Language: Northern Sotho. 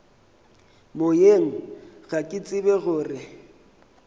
moyeng ga ke tsebe gore